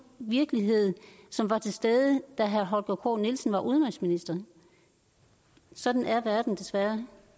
virkelighed som var til stede da herre holger k nielsen var udenrigsminister sådan er verden desværre